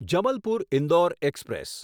Jabalpur Indore express